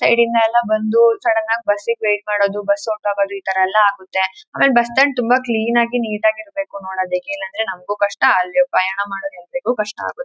ಸೈಡಿನಲ್ಲೆಲ್ಲಾ ಬಂದು ಸಡನ್ ಆಗಿ ಬಸ್ ಗೆ ವೇಟ್ ಮಾಡೋದು ಬಸ್ ಹೊಂಟೋಗೋದು ಇತರ ಎಲ್ಲಾ ಆಗುತ್ತೆ. ಆಮೇಲೆ ಬಸ್ ಸ್ಟಾಂಡ್ ತುಂಬಾ ಕ್ಲೀನ್ ಆಗಿ ನೀಟ್ ಆಗಿ ಇರಬೇಕು ನೋಡೋದಕ್ಕೆ ಇಲ್ಲಾಂದ್ರೆ ನಮ್ಮಗೂ ಕಷ್ಟ ಅಲ್ಲಿ ಪ್ರಯಾಣ ಮಾಡೋರಿ ಎಲ್ಲಾರಿಗೂ ಕಷ್ಟ ಆಗುತ್ತೆ.